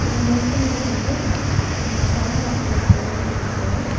இந்த ஹோட்டல்ல வந்து ரெண்டு சேர் அப்புறோ ஒரு டேபிள்ட்ருக்கு .